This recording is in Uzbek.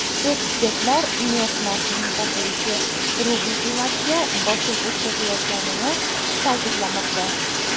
Ekspertlar neft narxining pasayishi rubl qiymatiga bosim o‘tkazayotganini ta’kidlamoqda.